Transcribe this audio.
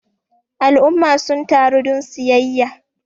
al'umma sun taru don siyayya